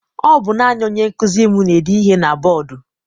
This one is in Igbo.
Ọ bụ naanị onye nkụzi m na-ede ihe na bọdu.